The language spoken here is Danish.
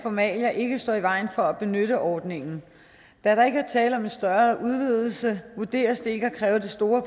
formalia ikke står i vejen for at benytte ordningen da der ikke er tale om en større udvidelse vurderes det ikke at kræve det store